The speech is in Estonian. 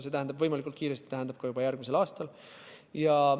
See "võimalikult kiiresti" tähendab seda, et juba järgmisel aastal.